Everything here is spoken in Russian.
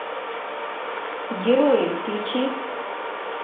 герои включи